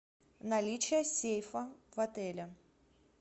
наличие сейфа в отеле